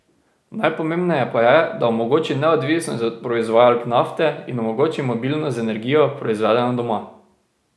Najpomembneje pa je, da omogoči neodvisnost od proizvajalk nafte in omogoči mobilnost z energijo, proizvedeno doma.